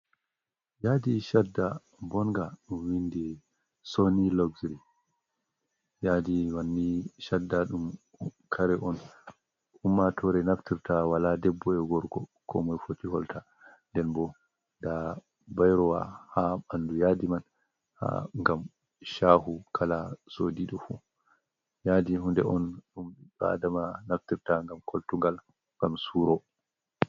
Yadi shadda bonnga ɗum vindi soni lokziri. Yadi manni shadda ɗum kare on ummatore naftirta wala debbo ea gorgo komai foti holta nden bo ɗon bairowa ha bandu yadi man gam shahu kala so di ɗo fu. Yadi hunde on ɗum bi Adama naftirta ngam koltugal gam suro.